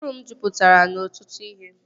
Ụbụrụ m jupụtara n'ọtụtụ ihe